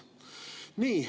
Nii.